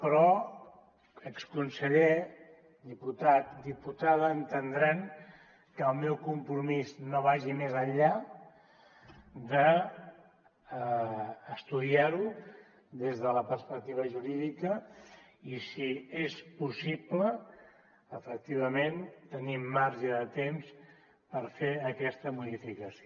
però exconseller diputat diputada entendran que el meu compromís no vagi més enllà d’estudiar ho des de la perspectiva jurídica i si és possible efectivament tenim marge de temps per fer aquesta modificació